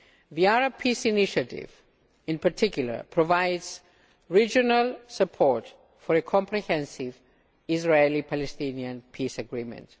The Arab Peace Initiative, in particular, provides regional support for a comprehensive Israeli Palestinian peace agreement.